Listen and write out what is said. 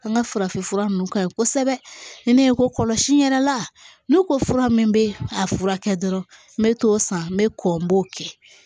An ka farafinfura nunnu ka ɲi kosɛbɛ ni ne ye ko kɔlɔsi yɛrɛ la n'u ko fura min bɛ a furakɛ dɔrɔn n bɛ t'o san n bɛ kɔ n b'o kɛ